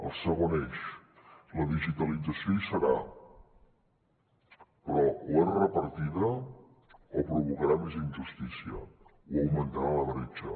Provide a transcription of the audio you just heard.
el segon eix la digitalització hi serà però o és repartida o provocarà més injustícia i augmentarà la bretxa